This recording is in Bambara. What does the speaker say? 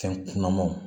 Fɛn kunamanw